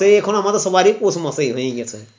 তে এখন আমাদের সবারই পৌষমাসই হয়ে গেছে